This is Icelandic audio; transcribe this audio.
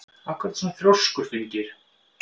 Af hverju ertu svona þrjóskur, Finngeir?